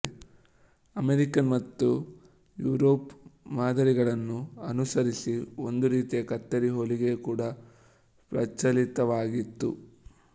American ಮತ್ತು ಐರೋಪ್ಯ ಮಾದರಿಗಳನ್ನು ಅನುಸರಿಸಿ ಒಂದು ರೀತಿಯ ಕತ್ತರಿ ಹೊಲಿಗೆ ಕೂಡ ಪ್ರಚಲಿತವಾಗಿತ್ತು